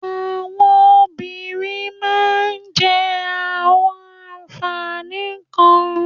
Àwọn obìnrin máà ń jẹ awọn ànfàní kan